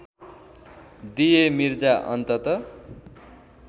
दिए मिर्जा अन्तत